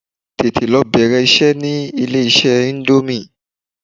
Tètè lọ bẹ̀rẹ̀ iṣẹ́ ní ilé iṣẹ́ íńdómì!